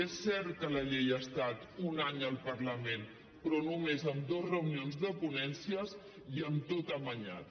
és cert que la llei ha estat un any al parlament però només amb dues reunions de ponència i amb tot amanyat